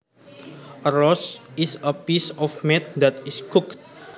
A roast is a piece of meat that is cooked